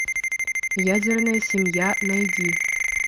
ядерная семья найди